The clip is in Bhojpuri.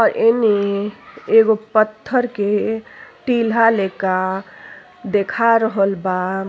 और एने एगो पत्थर के टिल्हा लेखा देखा रहल बा।